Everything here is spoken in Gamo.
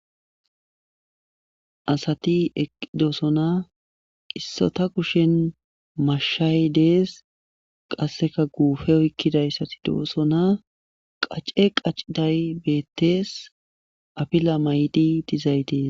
Asati eqidosona qissota kushen mashshay dees qasseka guufe oykkidayssati do'osona qace qaciday beettees afila maydi dizaytiis.